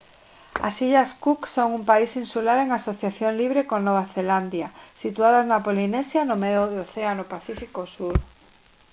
as illas cook son un país insular en asociación libre con nova zelandia situadas na polinesia no medio do océano pacífico sur